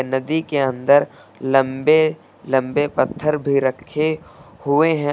नदी के अंदर लंबे लंबे पत्थर भी रखे हुए हैं।